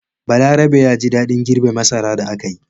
Balarabe ya ji daɗin girbe masara da aka yi.